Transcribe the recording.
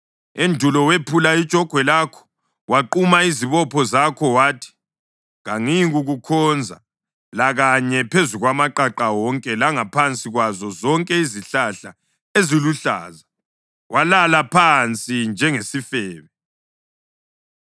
“Endulo wephula ijogwe lakho, waquma izibopho zakho; wathi, ‘Kangiyikukukhonza!’ Lakanye, phezu kwamaqaqa wonke langaphansi kwazo zonke izihlahla eziluhlaza walala phansi njengesifebe.